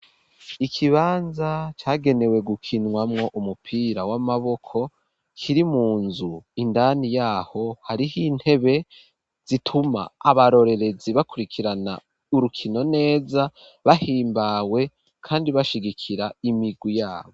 Ikibanza cagenewe gukinwamwo umupira w'amaboko, kiri mu nzu indani yaho hariho intebe zituma abarorerezi bakurikirana urukino neza bahimbawe kandi bashigikira imigwi yabo.